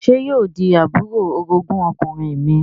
Sé yóò di àbúrò orogún ọkùnrin mi?